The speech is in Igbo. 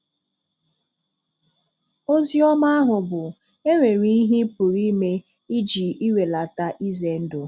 Ozi ọma ahụ bụ, e nwere um ihe ị pụrụ ime iji iwèlàtà ize ndụ.